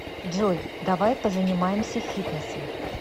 джой давай позанимаемся фитнесом